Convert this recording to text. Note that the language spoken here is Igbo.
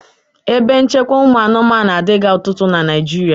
Ebe nchekwa ụmụ anụmanụ adịghị ọtụtụ na Naịjirịa.